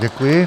Děkuji.